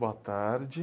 Boa tarde.